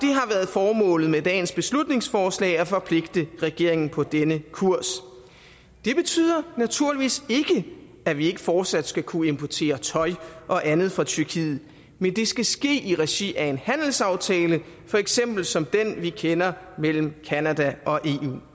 formålet med dagens beslutningsforslag at forpligte regeringen på denne kurs det betyder naturligvis ikke at vi ikke fortsat skal kunne importere tøj og andet fra tyrkiet men det skal ske i regi af en handelsaftale for eksempel som den vi kender mellem canada og eu